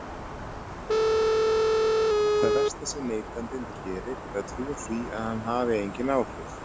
Það versta sem neytandinn gerir er að trúa því að hann hafi engin áhrif.